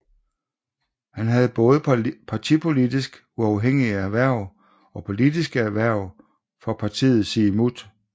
Han havde både partipolitisk uafhængige hverv og politiske hverv for partiet Siumut